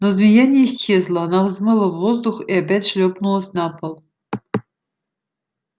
но змея не исчезла она взмыла в воздух и опять шлёпнулась на пол